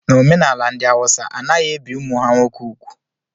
N'omenala ndị Awụsa a naghị ebi ụmụ ha nwoke úgwù